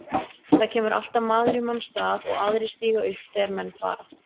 Það kemur alltaf maður í manns stað og aðrir stíga upp þegar menn fara.